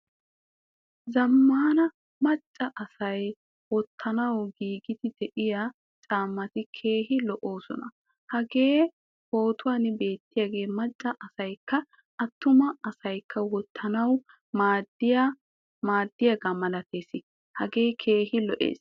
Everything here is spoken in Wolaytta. Zamaana macca asay wottanawu giigidi deiyaa caamati keehin lo"osona. Hagee pootuwan beetiyage macca asaykka attuma asaykka wottanawu maadiyaga malattees. Hagee keehin lo"ees.